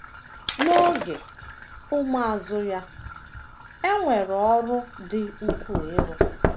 N’oge, ụmụazụ ya - enwe ọrụ dị ukwuu ịrụ.